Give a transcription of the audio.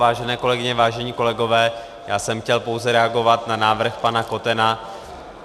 Vážené kolegyně, vážení kolegové, já jsem chtěl pouze reagovat na návrh pana Kotena.